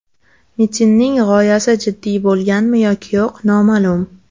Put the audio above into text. Mitinning g‘oyasi jiddiy bo‘lganmi yoki yo‘q, noma’lum.